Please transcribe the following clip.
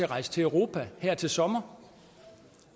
rejse til europa her til sommer